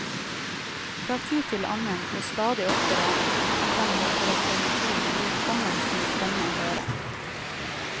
Fra tid til annen, og stadig oftere frem mot reformasjonen, lot kongen sin stemme høre.